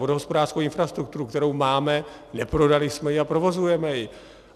Vodohospodářskou infrastrukturu, kterou máme, neprodali jsme ji a provozujeme ji.